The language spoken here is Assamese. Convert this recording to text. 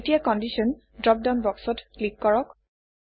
এতিয়া কণ্ডিশ্যন ড্ৰপডাউন বক্সত ক্লিক কৰক